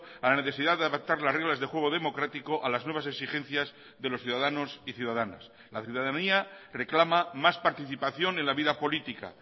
a la necesidad de adaptar las reglas de juego democrático a las nuevas exigencias de los ciudadanos y ciudadanas la ciudadanía reclama más participación en la vida política